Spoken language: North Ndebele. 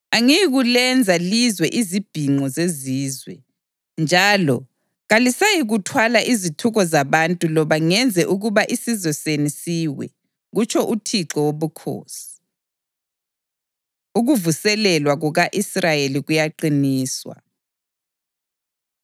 Angiyikulenza lizwe izibhinqo zezizwe, njalo kalisayikuthwala izithuko zabantu loba ngenze ukuba isizwe senu siwe, kutsho uThixo Wobukhosi.’ ” Ukuvuselelwa Kuka-Israyeli Kuyaqiniswa